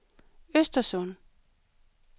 Östersund